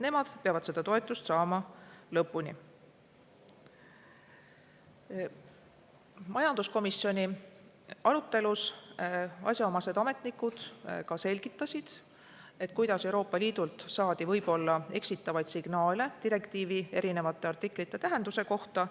Majanduskomisjoni arutelus selgitasid asjaomased ametnikud, kuidas Euroopa Liidult saadi võib-olla eksitavaid signaale direktiivi erinevate artiklite tähenduse kohta.